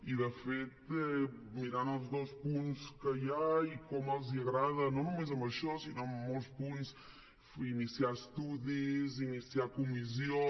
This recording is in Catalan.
i de fet mirant el dos punts que hi ha i com els agrada no només en això sinó en molts punts iniciar estudis iniciar comissions